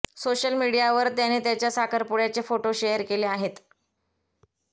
social मीडियावर त्याने त्याच्या साखरपुड्याचे फोटो शेअर केले आहेत